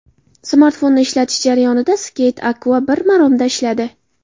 Smartfonni ishlatish jarayonida, Skate Acqua bir maromda ishladi.